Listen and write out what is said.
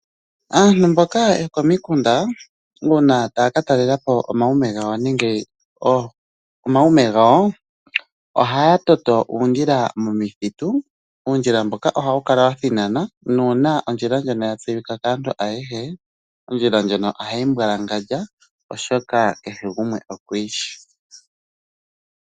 Aantu mboka yokomiikunda uuna taya katalela po omaume gawo, ohaya toto uundjila momithitu, uundjila mboka ohawu kala wathinana nauuna ondjila ndjoka ya tseyika kaantu ayehe, ondjila ndyoka ohayi mbwalangandja oshoka kehe gumwe okuyi shi.